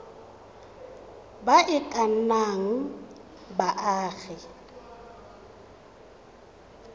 ba e ka nnang baagi